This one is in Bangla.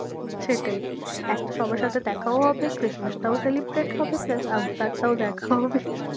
উম সেটাই এক তো সবার সাথে দেখাও হবে Christmas টাও celebrate হবে, plus আফতার টাও দেখা হবে